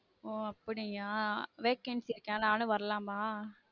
ஒ அப்டியா vacancy இருக்கா நானும் வரலாமா